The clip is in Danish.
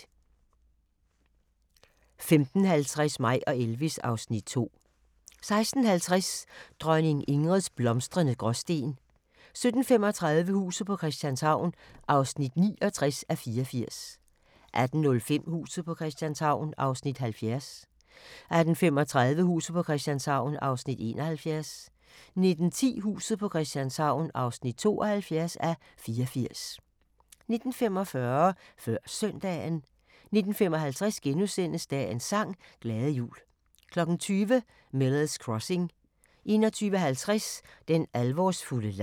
15:50: Mig og Elvis (Afs. 2) 16:50: Dronning Ingrids blomstrende Gråsten 17:35: Huset på Christianshavn (69:84) 18:05: Huset på Christianshavn (70:84) 18:35: Huset på Christianshavn (71:84) 19:10: Huset på Christianshavn (72:84) 19:45: Før Søndagen 19:55: Dagens sang: Glade jul * 20:00: Miller's Crossing 21:50: Den alvorsfulde leg